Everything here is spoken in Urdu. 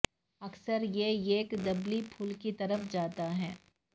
اکثر یہ ایک دبلی پھول کی طرف جاتا ہے